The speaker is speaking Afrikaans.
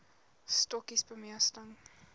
stokkies bemesting